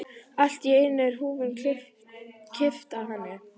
Allt í einu er húfunni kippt af henni!